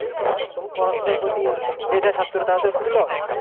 পড়াশোনার প্রতি মেধ ছাত্র তাদের তো খুবই loss